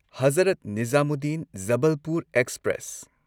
Hazrat Nizamuddin Jabalpur express